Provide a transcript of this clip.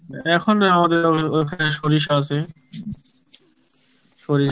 এখন আমাদের ও~ ওখানে সরিষা আসে, সরিষা